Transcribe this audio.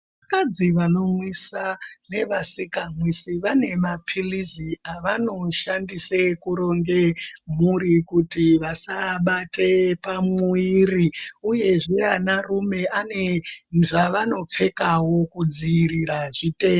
Hanzi vanomwisa nevasikamwisi vane mapilizi avanoshandise kuronge mhuri kuti vasabate pamuwiri, uyezve anarume ane zvaanopfekawo kudziirira zvitenda